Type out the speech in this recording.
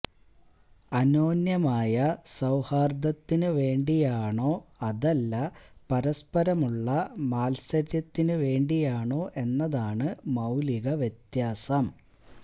അന്യോന്യമായ സൌഹാര്ദത്തിനു വേണ്ടിയാണോ അതല്ല പരസ്പരമുള്ള മാത്സര്യത്തിനു വേണ്ടിയാണോ എന്നതാണ് മൌലിക വ്യത്യാസം